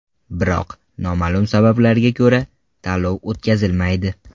Biroq noma’lum sabablarga ko‘ra, tanlov o‘tkazilmaydi.